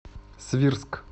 свирск